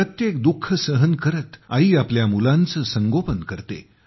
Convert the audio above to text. प्रत्येक दुःख सहन करत आई आपल्या मुलाचे संगोपन करते